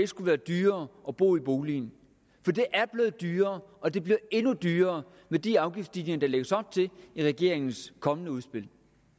skulle være dyrere at bo i boligen for det er blevet dyrere og det bliver endnu dyrere med de afgiftsstigninger der lægges op til i regeringens kommende udspil